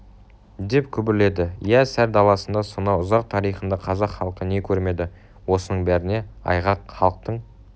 деп күбірледі иә сар даласында сонау ұзақ тарихында қазақ халқы не көрмеді осының бәріне айғақ халықтың